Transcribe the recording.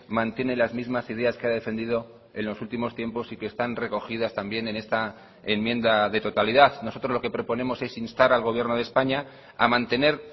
mantiene las mismas ideas que ha defendido en los últimos tiempos y que están recogidas también en esta enmienda de totalidad nosotros lo que proponemos es instar al gobierno de españa a mantener